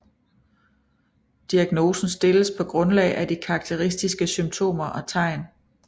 Diagnosen stilles på grundlag af de karakteristiske symptomer og tegn